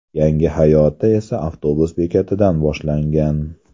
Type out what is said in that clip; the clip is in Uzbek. Yangi hayoti esa avtobus bekatidan boshlangan.